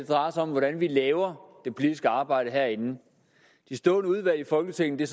drejer sig om hvordan vi laver det politiske arbejde herinde de stående udvalg i folketinget er